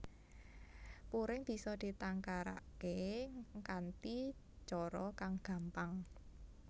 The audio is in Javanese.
Puring bisa ditangkaraké kanthi cara kang gampang